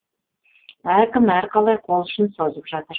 әркім әрқалай қолұшын созып жатыр